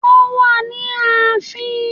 Wọ́n wà ní ààfin